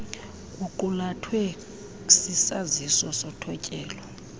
kuqulathwe sisaziso sothotyelo